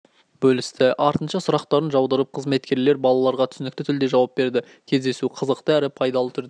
бөлісті артынша сұрақтарын жаудырып қызметкерлер балаларға түсінікті тілде жауап берді кездесу қызықты әрі пайдалы түрде